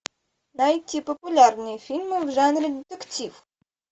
найти популярные фильмы в жанре детектив